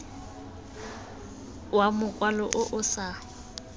wa mokwalo o o sa